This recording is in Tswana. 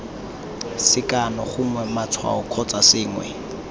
sekano gongwe matshwao kgotsa sengwe